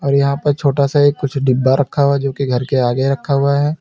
और यहां पर छोटा सा एक कुछ डिब्बा रखा हुआ जो कि घर के आगे रखा हुआ है।